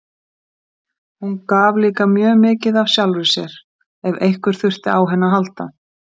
Hún gaf líka mjög mikið af sjálfri sér, ef einhver þurfti á henni að halda.